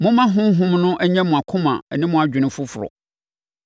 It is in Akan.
Momma Honhom no nyɛ mo akoma ne mo adwene foforɔ,